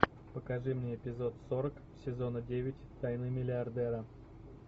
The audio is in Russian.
покажи мне эпизод сорок сезона девять тайны миллиардера